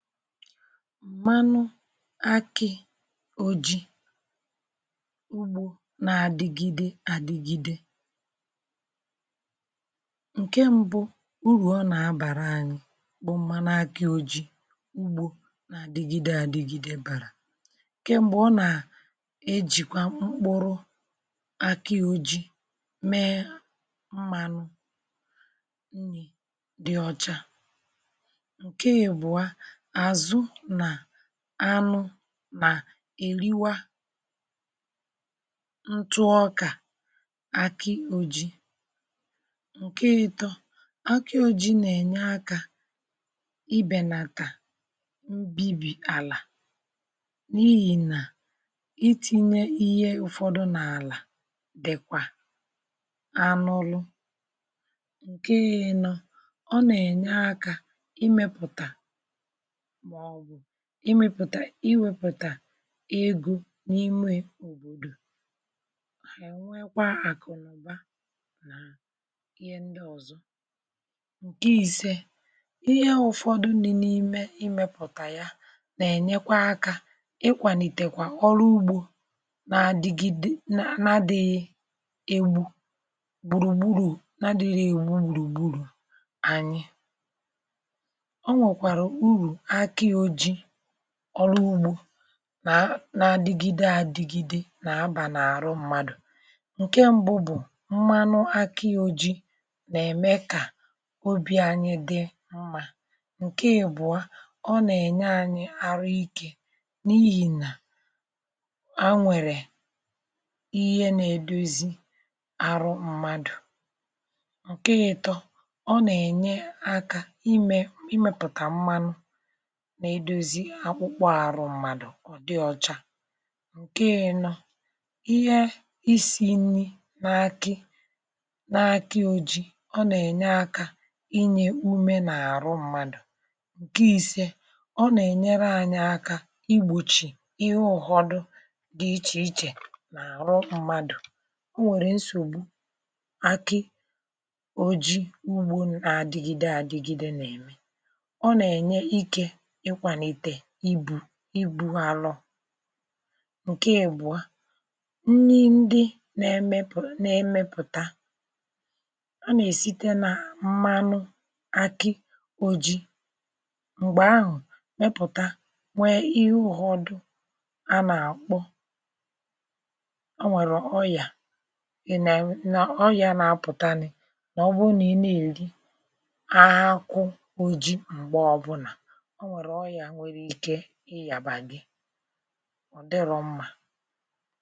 manụ akị oji ugbo na-adigide adigide nke mbu úru ona abara anyi manu aki oji ugbo na adigide adigide bu nke mbu na nà ojikwa mkpuru aki oji mme manu nni di ocha nke abuo àzụ nà anụ nà èriwa ntụ ọkà àkị oji ǹke etọ àkịoji nà-ènye akȧ ibènàkà mbibi àlà n’ihì nà iti̇nye ihe ụ̀fọdụ nà àlà dị̀kwà anụ ụlọ̇ ǹke yȧ ịnọ̇ ọ nà ènye akȧ imėpụ̀tà imėpụ̀tà iwėpụ̀tà egȯ n’ime òbòdò hà ènwekwa àkụ̀nụ̀ba nà ihe ndi ọ̀zọ ǹkè ìse ihe ụ̀fọdụ dina imė imėpụ̀tà ya nà-ènyekwa akȧ ịkwànìtèkwa ọlụ ugbȯ nà-àdìgide nà na dị̇ghị ebu̇ gbùrùgburu̇ na dị̇ghị̇ ebùrùgburu̇ anyị onwekwara urụ aki oji oru ugbȯ na adigide a dịgide na-aba n’arụ mmadụ̀ ǹke mbụ bụ̀ mmanụ akị ojii nà-ème kà obi̇ anyị dị mma ǹke ibụ̀a ọ nà-ènye anyị arụ ike n’ihì nà anwere ihe nà-èdiozi arụ mmadụ̀ ǹke ịtọ ọ nà-ènye akȧ imė imėpụ̀tà mmanụ na edozi akwụkpọ àrụ mmadụ̀ ọ̀ dị ọ̀cha ǹke enọ ihe isi nni n’akị n’akị ojii ọ nà-ènye akȧ inye ume n’àrụ mmadụ̀ ǹke ise ọ nà-ènyere anyị aka igbòchì ihe ọ̀họdụ di ichè ichè n’àrụ mmadụ̀ o nwèrè nsògbu akị oji ugbȯ nà-àdịgide àdịgide nà-ème ona enye Ike ikwalite ibu àrọ ǹke àbụ̀ọ nri ndị nȧ-emepụ̀tà a nà-èsite nà mmanụ akị ojii m̀gbè ahụ̀ mẹpụ̀ta nwee ịhụ ghọ̀ọ dụ a nà-àkpọ o nwèrè oyà nà ọyà na-apụ̀tanị nà ọ bụrụ nà ị na-èri ahụhụ ojii m̀gbè ọbụlà onwérè oya nwere Ike iyaba gi ọ̀ dịrọ mmȧ